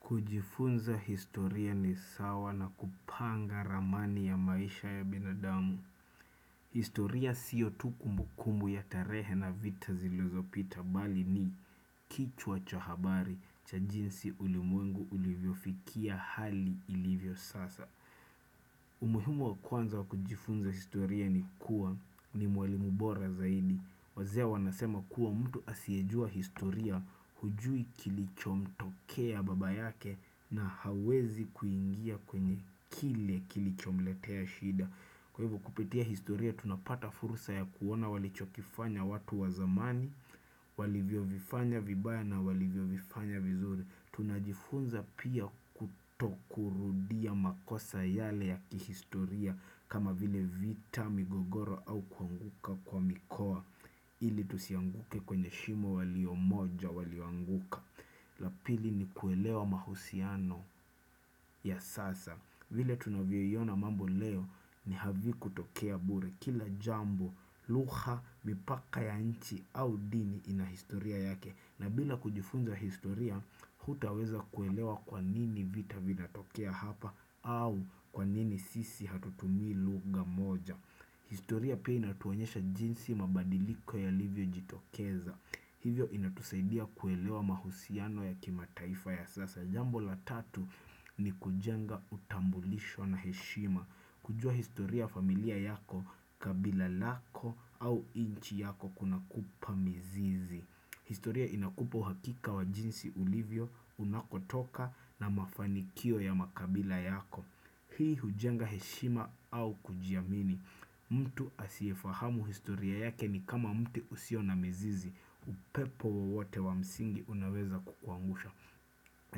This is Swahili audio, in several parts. Kujifunza historia ni sawa na kupanga ramani ya maisha ya binadamu. Historia sio tu kumbukumbu ya tarehe na vita zilozopita bali ni kichwa cha habari cha jinsi ulimwengu ulivyofikia hali ilivyo sasa. Umuhimu wa kwanza wa kujifunza historia ni kuwa ni mwalimu bora zaidi. Wazee wanasema kuwa mtu asiyejua historia hujui kilichomtokea baba yake na hawezi kuingia kwenye kile kilichomletea shida. Kwa hivo kupitia historia tunapata fursa ya kuona walichokifanya watu wa zamani, walivyovifanya vibaya na walivyovifanya vizuri. Tunajifunza pia kutokurudia makosa yale ya kihistoria kama vile vita migogoro au kuanguka kwa mikoa. Ili tusianguke kwenye shimo waliomoja walioanguka. La pili ni kuelewa mahusiano ya sasa. Vile tunaviyoiona mambo leo ni havikutokea bure. Kila jambo, luha, mipaka ya nchi au dini ina historia yake. Na bila kujifunza historia, hutaweza kuelewa kwa nini vita vinatokea hapa au kwa nini sisi hatutumi lugha moja. Historia pia inatuonyesha jinsi mabadiliko yalivyojitokeza. Hivyo inatusaidia kuelewa mahusiano ya kimataifa ya sasa. Jambo la tatu ni kujenga utambulisho na heshima. Kujua historia ya familia yako kabila lako au inchi yako kuna kupa mizizi. Historia inakupa uhakika wa jinsi ulivyo unakotoka na mafanikio ya makabila yako. Hii hujenga heshima au kujiamini. Mtu asiefahamu historia yake ni kama mti usio na mizizi. Upepo wowote wa msingi unaweza kukuangusha.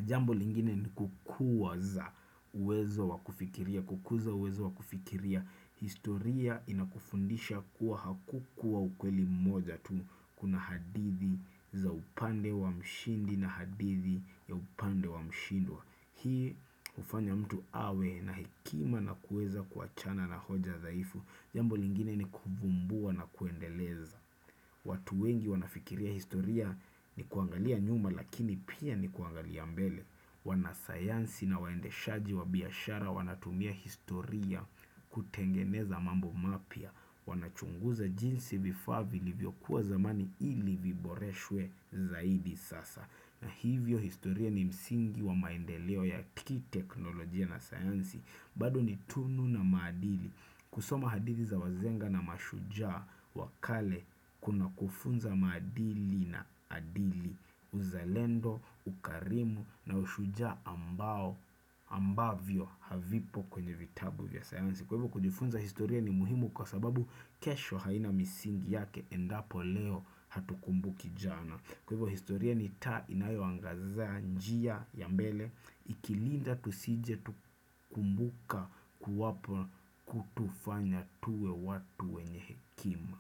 Jambo lingine ni kukuwaza uwezo wa kufikiria, kukuza uwezo wa kufikiria. Historia inakufundisha kuwa hakukuwa ukweli mmoja tu kuna hadithi za upande wa mshindi na hadithi ya upande wa mshindwa. Hii ufanya mtu awe na hekima na kueza kuachana na hoja dhaifu. Jambo lingine ni kuvumbua na kuendeleza. Watu wengi wanafikiria historia ni kuangalia nyuma lakini pia ni kuangalia mbele. Wanasayansi na waendeshaji wa biashara wanatumia historia kutengeneza mambo mapya. Wanachunguza jinsi vifaa vilivyokuwa zamani ili viboreshwe zaidi sasa. Na hivyo historia ni msingi wa maendeleo ya kiteknolojia na sayansi. Bado ni tunu na maadili. Kusoma hadithi za wazenga na mashujaa wa kale kuna kufunza maadini na adili uzalendo, ukarimu na ushujaa ambao ambavyo havipo kwenye vitabu vya sayansi. Kwa hivyo kujifunza historia ni muhimu kwa sababu kesho haina misingi yake endapo leo hatukumbuki jana. Kwa hivyo historia ni taa inayoangaza njia ya mbele ikilinda tusije tukumbuka kuwapo kutufanya tuwe watu wenye hekima.